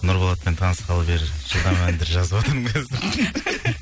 нұрболатпен танысқалы бері жаңа әндер жазыватырмын қазір